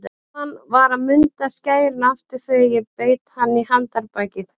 Guðmann var að munda skærin aftur þegar ég beit hann í handarbakið.